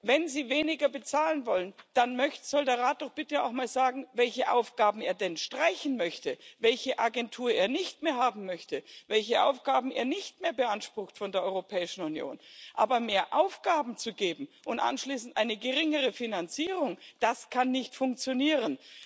Wenn sie weniger bezahlen wollen, dann soll der Rat doch bitte auch mal sagen, welche Aufgaben er denn streichen möchte, welche Agentur er nicht mehr haben möchte, welche Aufgaben er nicht mehr beansprucht von der Europäischen Union. Aber mehr Aufgaben zu geben und anschließend eine geringere Finanzierung das kann nicht funktionieren.